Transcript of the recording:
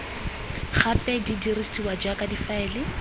gape di dirisiwa jaaka difaele